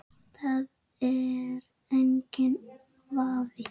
Það er enginn vafi.